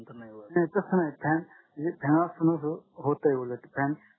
नाही तस नाही fan असताना अं होतंय उलट fan